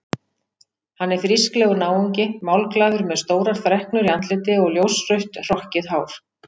Hann er frísklegur náungi, málglaður með stórar freknur í andliti og ljósrautt hrokkið hár.